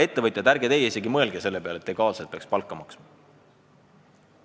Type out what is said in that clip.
Ettevõtjad, teie ärge isegi mõelge selle peale, et te peaksite legaalselt palka maksma!